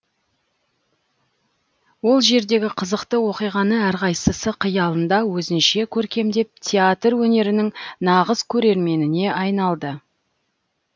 ол жердегі қызықты оқиғаны әрқайсысы қиялында өзінше көркемдеп театр өнерінің нағыз көрерменіне айналды